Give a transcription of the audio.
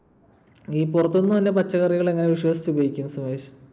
ഈ പുറത്തുന്നു വരുന്ന പച്ചക്കറികൾ എങ്ങനെ വിശ്വസിച്ച് ഉപയോഗിക്കും സുമേഷ്?